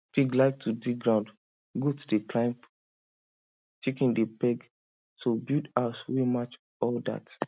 pig like to dig ground goat dey climb chicken dey peck so build house wey match all that